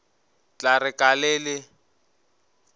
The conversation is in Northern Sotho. tla re ka le le